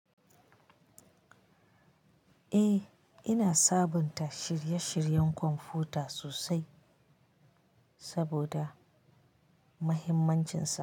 Eh, ina sabunta shirye-shiryen kwamfuta sosai saboda mahimmancinsa.